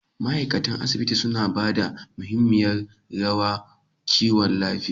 ma'aikatan asibiti suna ba da mahimiyar rawa kiwon lafiya